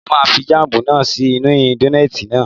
Mo máa fi jáàmù náà sí inú dónààtì náà